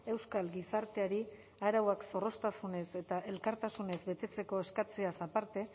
euskal gizarteari arauak zorroztasunez eta elkartasunez betetzeko eskatzeaz aparte